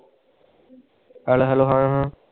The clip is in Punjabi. Hello hello ਹਾਂ ਹਾਂ